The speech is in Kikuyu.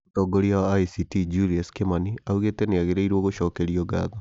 Mũtongoria wa ACT: Julius Kimani augĩte nĩagĩrĩirwo nĩ gũcokerio ngatho